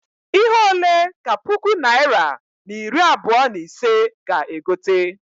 Ihe ole ka puku naịra na iri abụọ na ise ga- egote?